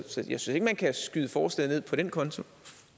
synes ikke man kan skyde forslaget ned på den konto